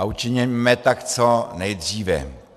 A učiňme tak co nejdříve.